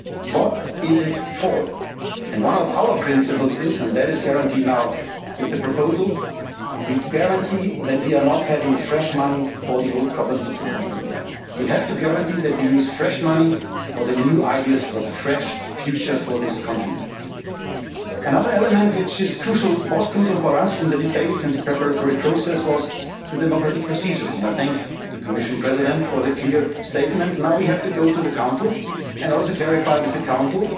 question is what is it for? And one of our principles is with the proposal we guarantee that we are not having fresh money for the old problems of the continent. We have to guarantee that we use fresh money for the new ideas for the fresh future for this continent. Another element, which was crucial for us in the debates and the preparatory process was the democratic procedures, and I thank the Commission President for the clear statement. Now we have to go to the Council and also clarify